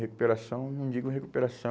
Recuperação, não digo recuperação...